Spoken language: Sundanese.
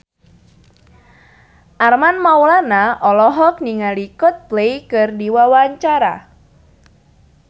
Armand Maulana olohok ningali Coldplay keur diwawancara